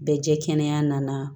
Bɛ jɛ kɛnɛya nana